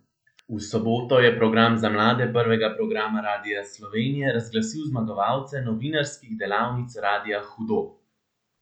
V soboto je Program za mlade Prvega programa Radia Slovenija razglasil zmagovalce novinarskih delavnic Radia Hudo!